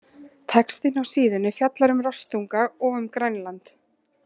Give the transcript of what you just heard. Textinn á síðunni fjallar um rostunga og um Grænland.